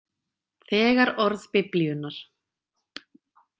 Þegar orð Biblíunnar.